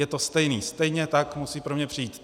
Je to stejné, stejně tak musí pro mě přijít.